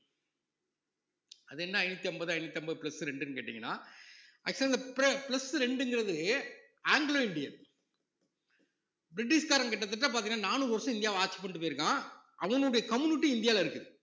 அது என்ன ஐந்நூத்தி அம்பது ஐந்நூத்தி அம்பது plus ரெண்டுன்னு கேட்டீங்கன்னா actual ஆ இந்த pl~ plus ரெண்டுங்கறது ஆங்கிலோ இந்தியன் பிரிட்டிஷ்காரன் கிட்டத்தட்ட பார்த்தீங்கன்னா நானூறு வருஷம் இந்தியாவ ஆட்சி பண்ணிட்டு போயிருக்கான் அவனுடைய community இந்தியால இருக்கு